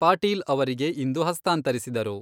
ಪಾಟೀಲ್ ಅವರಿಗೆ ಇಂದು ಹಸ್ತಾಂತರಿಸಿದರು.